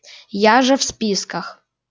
я же в списках